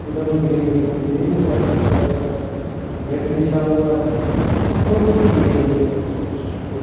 एकदम green green green कर-कलर्स का मेट बिछा हुआ है बहुत अच्छी है एकदम तस्वीर गुड ।